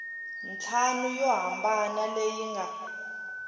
ntlhanu yo hambana leyi nga